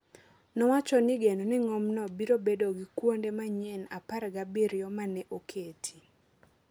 nowacho ni geno ni ng’omno biro bedo gi kuonde manyien apar gabiriyo ma ne oketi.